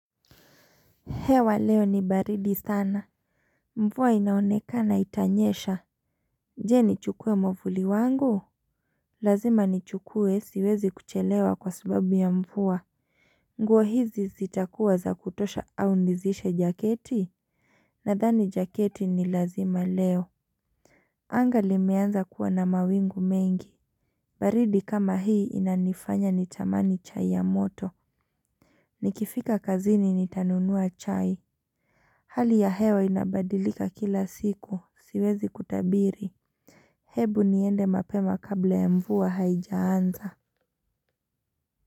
Hewa leo ni baridi sana. Mvua inaonekana itanyesha. Je nichukue mwavuli wangu? Lazima nichukue siwezi kuchelewa kwa sababu ya mvua. Nguo hizi zitakuwa za kutosha au nizishe jaketi? Nadhani jaketi ni lazima leo. Anga limeanza kuwa na mawingu mengi. Baridi kama hii inanifanya nitamani chai ya moto. Nikifika kazini nitanunua chai. Hali ya hewa inabadilika kila siku. Siwezi kutabiri, hebu niende mapema kabla ya mvua haijaanza.